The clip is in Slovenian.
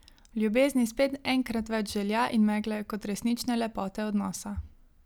V ljubezni spet enkrat več želja in megle kot resnične lepote odnosa.